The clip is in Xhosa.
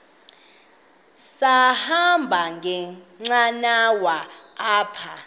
sahamba ngenqanawa apha